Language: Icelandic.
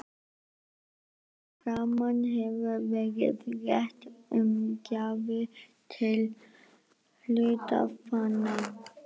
Hér að framan hefur verið rætt um gjafir til hluthafanna.